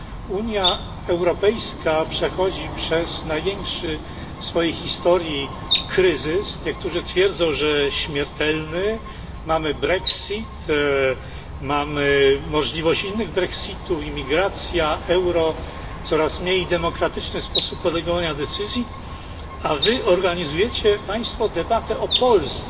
Unia Europejska przechodzi przez największy w swojej historii kryzys niektórzy twierdzą, że śmiertelny mamy Brexit, mamy możliwość innych Brexitów, imigracja, euro, coraz mniej demokratyczny sposób podejmowania decyzji a wy organizujecie Państwo debatę o Polsce.